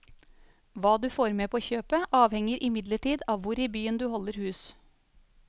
Hva du får med på kjøpet, avhenger imidlertid av hvor i byen du holder hus.